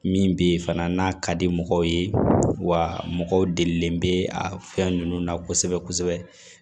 Min bi fana n'a ka di mɔgɔw ye wa mɔgɔ delilen bɛ a fɛn ninnu na kosɛbɛ kosɛbɛ